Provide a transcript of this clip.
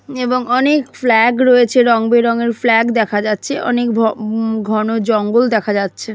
এবং অনেক ফ্ল্যাগ রয়েছে রংবেরঙের ফ্ল্যাগ দেখা যাচ্ছে অনেক ভ উম ঘন জঙ্গল দেখা যাচ্ছে।